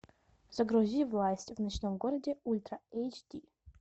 загрузи власть в ночном городе ультра эйч ди